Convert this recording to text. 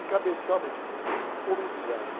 encabeçar uma enti, uma entidade.